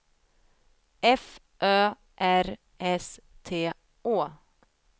F Ö R S T Å